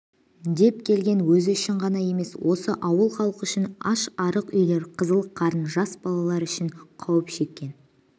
деп келден өзі үшін ғана емес осы ауыл халқы үшін аш-арық үйлер қызыл-қарын жас балалар үшін қауіп шеккен